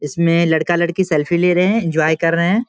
इसमें लड़का-लड़की सेल्फी रहे है एन्जॉय कर रहे है |